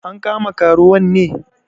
An kama karuwan ne?